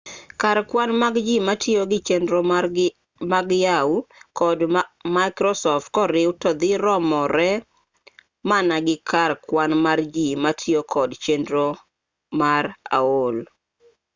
kar kwan mag ji matiyo gi chenro mag yahoo kod microsoft koriw to dhi romore mana gi kar kwan mar ji matiyo kod chenro mar aol